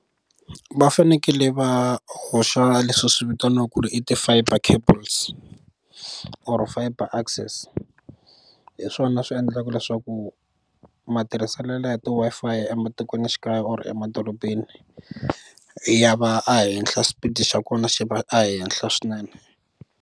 Va fanekele va hoxa leswi swi vitaniwaku ku ri i ti fiber cables or fiber access hi swona swi endlaka leswaku matirhiselelo ya ti Wi-Fi ematikwenixikaya or emadorobeni ya va a henhla xipidi xa kona xi va ehenhla swinene.